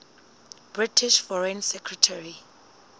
british foreign secretary